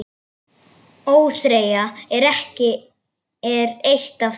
ÓÞREYJA er eitt af þeim.